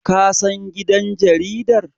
kasan gidan jaridar?